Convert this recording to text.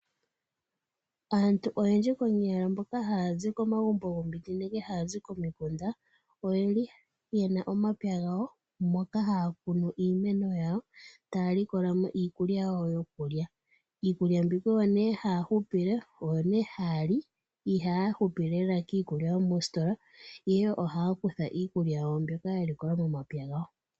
Aantu oyendji konyala mboka haya zi komagumbo gomiti nenge haya zi komagumbo goko mikunda oyeli yena omapya gawo moka haya kunu iimeno yawo, taya likola mo iikulya yawo yokulya. Iikulya mbika oyo nee haya li ihaya hupile lela kiikulya yomoostola, ihe ohaya kutha iikulya yawo mbyoka ya likola momapya gawo.